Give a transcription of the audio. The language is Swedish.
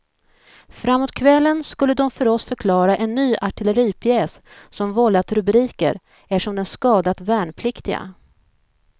Framåt kvällen skulle de för oss förklara en ny artilleripjäs som vållat rubriker eftersom den skadat värnpliktiga.